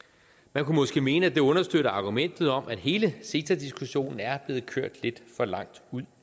man kunne måske mene at det understøtter argumentet om at hele ceta diskussionen er blevet kørt lidt for langt ud